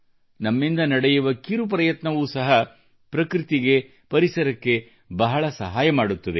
ನಮ್ಮಿಂದ ನಡೆಯುವ ಕಿರು ಪ್ರಯತ್ನವೂ ಸಹ ಪ್ರಕೃತಿಗೆ ಪರಿಸರಕ್ಕೆ ಬಹಳ ಸಹಾಯ ಮಾಡುತ್ತದೆ